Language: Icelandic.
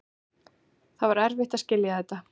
Það var erfitt að skilja þetta.